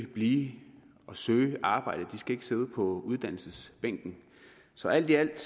blive og søge arbejde de skal ikke sidde på uddannelsesbænken så alt i alt